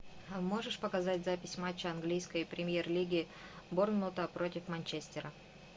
можешь показать запись матча английской премьер лиги борнмута против манчестера